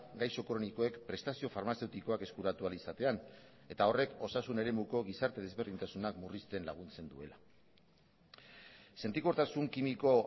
gaixo kronikoek prestazio farmazeutikoak eskuratu ahal izatean eta horrek osasun eremuko gizarte desberdintasunak murrizten laguntzen duela sentikortasun kimiko